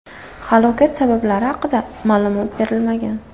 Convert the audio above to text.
Halokat sabablari haqida ma’lumot berilmagan.